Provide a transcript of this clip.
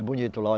bonito lá.